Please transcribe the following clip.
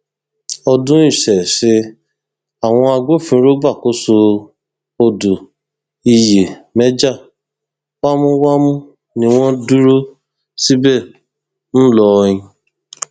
ọdún ises àwọn agbófinró gbàkóso odò ìyèméjà wámúwámú ni wọn dúró síbẹ ńlọrọìn